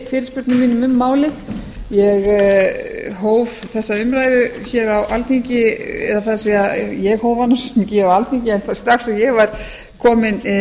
fyrirspurnum mínum um málið ég hóf þessa umræðu á alþingi eða það er ég hóf hana ekki á alþingi en strax og ég var komin